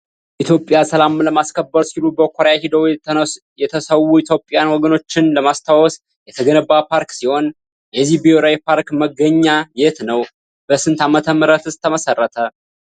የኢትዮጵያን ሰላም ለማስከበር ሲሉ በኮርያ ሄደው የተሰዉ የኢትዮጵያን ወገኖቻችንን ለማስታወስ የተገነባ ፓርክ ሲሆን። የዚህ ብሔራዊ ፓርክ መገኘ የት ነው? በስንት ዓመተ ምህረትስ መሰረተ ?